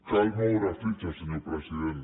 cal moure fitxa senyor president